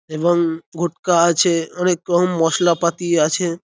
এবং ঘুটকা আছে অনেক রকম মশলা -পাতি আছে।